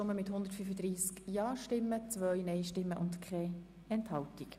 Sie haben die Motion abgeschrieben.